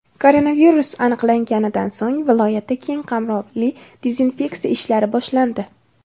Koronavirus aniqlanganidan so‘ng viloyatda keng qamrovli dezinfeksiya ishlari boshlandi.